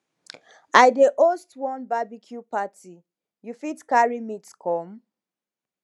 i dey host one barbecue party you fit carry meat come